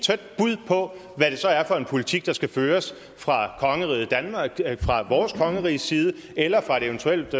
bud på hvad det så er for en politik der skal føres fra vores kongeriges side eller fra et eventuelt